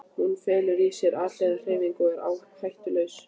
Hún felur í sér alhliða hreyfingu og er hættulaus.